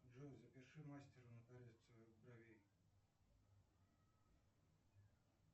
джой запиши к мастеру на коррекцию бровей